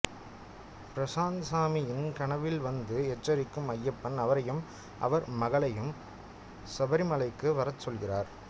பிரசாந்த்சாமியின் கனவில்வந்து எச்சரிக்கும் ஐயப்பன் அவரையும் அவர் மகளையும் சபரிமலைக்கு வரச்சொல்கிறார்